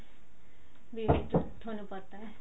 ਵੀ ਥੋਨੂੰ ਪਤਾ ਹੈ